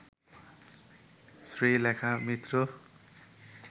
Sreelekha Mitra